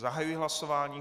Zahajuji hlasování.